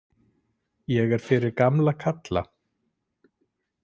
Ég er fyrir gamla kalla.